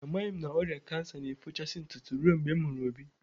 Amaghị m na ọrịa kansa na-efochasị ntụtụ ruo oge m hụrụ Obi